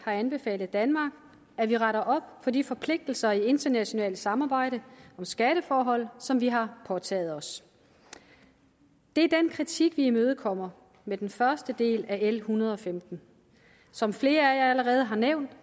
har anbefalet danmark at vi retter op på de forpligtelser i internationalt samarbejde om skatteforhold som vi har påtaget os det er den kritik vi imødekommer med den første del af l en hundrede og femten som flere allerede har nævnt